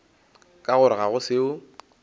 ka gore ga go seo